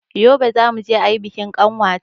Yobe zamuje ayi bikin ƙanwata